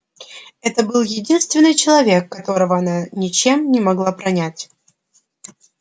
это был единственный человек которого она ничем не могла пронять